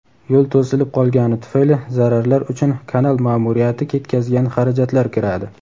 yo‘l to‘silib qolgani tufayli zararlar uchun kanal ma’muriyati ketkazgan xarajatlar kiradi.